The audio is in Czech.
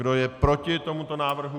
Kdo je proti tomuto návrhu?